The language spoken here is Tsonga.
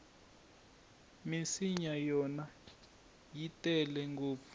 minsinya yona i tele ngopfu